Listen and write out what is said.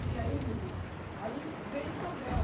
E aí, menina, aí veio Isabel,